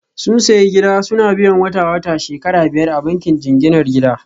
Sun sayi gida suna biyan wata-wata shekara biyar a bankin jinginar gida